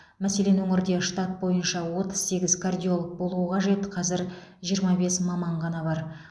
мәселен өңірде штат бойынша отыз сегіз кардиолог болуы қажет қазір жиырма бес маман ғана бар